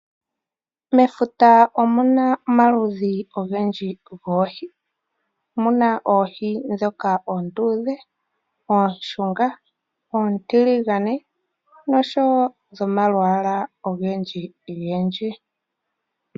Mefuta omuna omaludhi ogendji goohi. Omuna oohi ndhoka oonduudhe, oonshunga, oontiligane, nadhimwe dhomalwaala ogendji-gendji.